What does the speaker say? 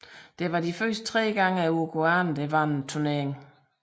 Det var de tre første gange uruguayanerne vandt turneringen